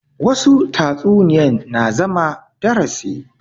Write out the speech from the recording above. Wassu tatsuniya na zuwa darasi